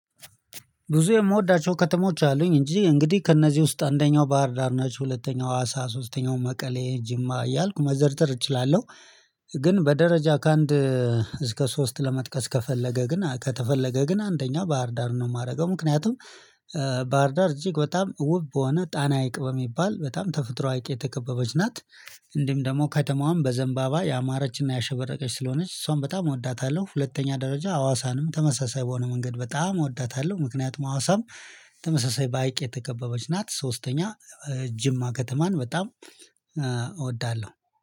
ብዙ የምወዳቸው ከተሞች አሉኝ እንጂ እንግዲህ ከእነዚህ ውስጥ አንደኛው ባህር ዳር ናቸው ሁለተኛው አዋሳ ሶስተኛው መቀሌ ጅማ እያልኩ መዘርዘር እችላለሁ። ግን በደረጃ ከአንድ እስከ ሶስት ለመጥቀስ ከፈለገ ግን ከተፈለገ ግን አንደኛ ባህርዳርን ነው የማደርገው ምክንያቱም ባህርዳር እጅግ በጣም ውብ በሆነ ጣና ሀይቅ በሚባል በጣም ተፈጥሮ ሀይቅ የተከበበች ናት። እንዲሁም ደግሞ ከተማዋም በዘንባባ ያማረችና ያሸበረቀች ስለሆነች እሷን በጣም እወዳታለሁ። ሁለተኛ ደረጃ ሀዋሳንም ተመሳሳይ በሆነ መንገድ በጣም እወዳታለሁ። ምክንያቱም ሀዋሳም ተመሳሳይ በሃይቅ የተከበበች ናት። ሶስተኛ ጅማ ከተማን በጣም እወዳለሁ።